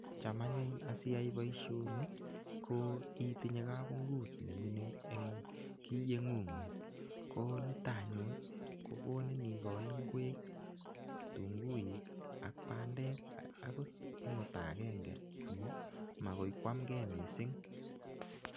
Cham anyun siyai boishoni ko itinye kabungut ne mining eng kiyeng'ung'ung. ko nitok anyun ko konin ikol ingwek, kitunguik ak bandek akot eng ota agenge amun magoi koamgei mising.